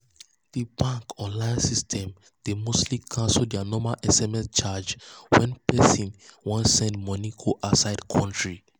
the bank online system dey mostly cancel their normal sms charge when person person wan send money go outside country.